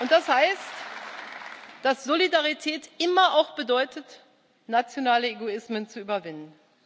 Das heißt, dass Solidarität immer auch bedeutet, nationale Egoismen zu überwinden.